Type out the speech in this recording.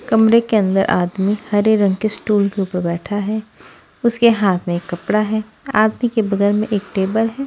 कमरे के अंदर आदमी हरे रंग के स्टूल के ऊपर बैठा है उसके हाथ में एक कपड़ा है आदमी के बगल में एक टेबल है।